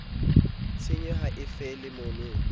tshenyo ha e felle mono